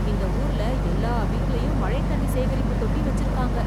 இந்த ஊர்ல எல்லா வீட்லயும் மழைத் தண்ணி சேகரிப்பு தொட்டி வச்சுருக்காங்க.